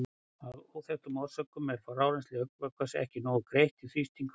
Af óþekktum orsökum er frárennsli augnvökvans ekki nógu greitt og þrýstingurinn hækkar.